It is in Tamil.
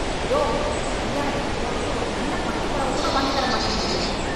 யோவ், கல்யாணத்துக்கு போறதுக்கு ஒரு நல்ல பட்டு பொடவக் கூட வாங்கி தர மாட்டேங்கறயே.